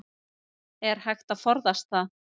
Þessum atburðum lýsir Þúkýdídes í fjórðu bók verks síns.